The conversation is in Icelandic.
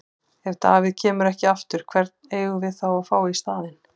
Ef David kemur ekki aftur, hvern eigum við þá að fá í staðinn?